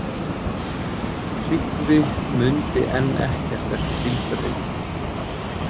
Tryggvi mundi enn ekkert eftir bílferðinni.